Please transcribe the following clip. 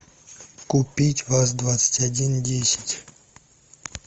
купить ваз двадцать один десять